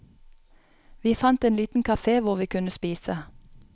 Vi fant en liten café hvor vi kunne spise.